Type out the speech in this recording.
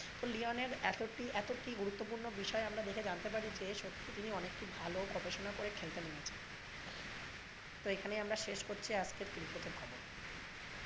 তো লিওনের এতটি এতটি গুরুত্বপূর্ণ বিষয় দেখে আমরা জানতে পারি যে সত্যি তিনি অনেকই ভালো গবেষণা করে খেলতে নেমেছেন। তো এখানেই আমরা শেষ করছি আজকের cricket এর খবর।